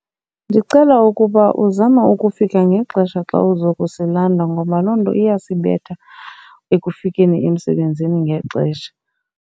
Ndicela ukuba uzame ukufika ngexesha xa uzokusilandula ngoba loo nto iyasibetha ekufikeni emsebenzini ngexesha.